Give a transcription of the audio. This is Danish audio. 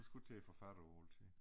Det sgu ikke til at få fattet altid